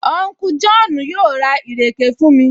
Unku Jọ́ọ̀nù yóò ra ìrèké fún mi